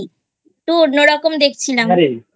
একটু অন্যরকম দেখছিলাম?